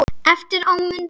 Eftir á mundi